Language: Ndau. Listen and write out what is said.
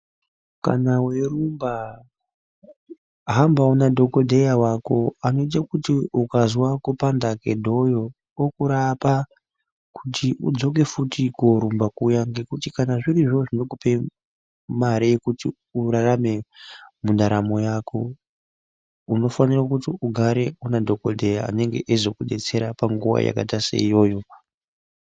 Kana weirumba hambawo nadhokodheya wako anoite kuti ukazwa kupanda kwedhoyo okurapa kuti udzoke futi korumba kuya ngekuti kana zvirizvo zvinokupa mare yekuti urarame mundaramo yako unofanira kuti ugare unadhokodheya anozokudetsera munguva yakaita seiyoyo.